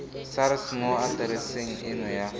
sars mo atereseng eno ya